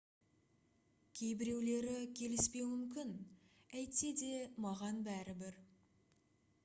кейбіреулері келіспеуі мүмкін әйтсе де маған бәрібір